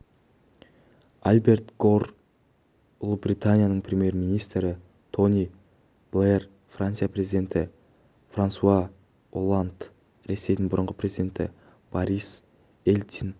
альберт гор ұлыбританияның премьер-министрі тони блэр франция президенті франсуа олланд ресейдің бұрынғы президенті борис ельцин